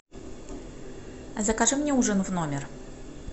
закажи мне ужин в номер